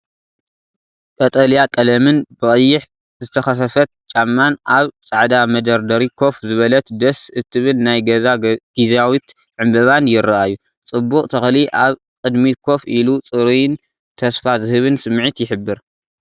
ቀጠልያ ቀለምን ብቀይሕ ዝተኸፈፈት ጫማን ኣብ ጻዕዳ መደርደሪ ኮፍ ዝበለት ደስ እትብል ናይ ገዛ ጊዚያዊት ዕንበባን ይረኣዩ። ጽቡቕ ተኽሊ ኣብ ቅድሚት ኮፍ ኢሉ ጽሩይን ተስፋ ዝህብን ስምዒት ይሕብር።